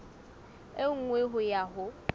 e nngwe ho ya ho